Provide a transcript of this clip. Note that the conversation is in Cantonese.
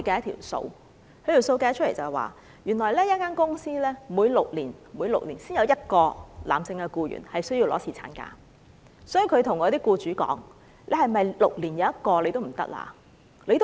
他說他們統計過，原來一間公司每6年才有1個男性僱員需要放取侍產假，所以，他向僱主說："是否6年1個也不行？